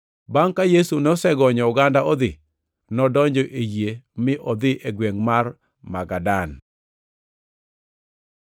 Bangʼ ka Yesu nosegonyo oganda odhi, nodonjo e yie mi odhi e gwengʼ mar Magadan.